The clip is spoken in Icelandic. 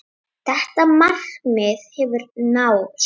Þetta markmið hefur náðst.